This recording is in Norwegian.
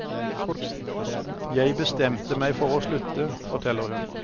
Jeg bestemte meg for å slutte, forteller hun.